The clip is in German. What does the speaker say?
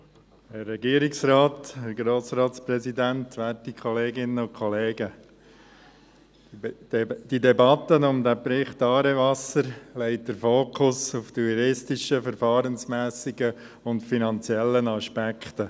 Die Debatte um den Bericht «Aarewasser» legt den Fokus auf die juristischen, verfahrensmässigen und finanziellen Aspekte.